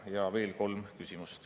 Ja on veel kolm küsimust.